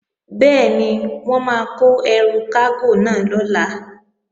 Bẹ́ẹ̀ni, wọ́n máa kó ẹrù kágò náà lọ̀la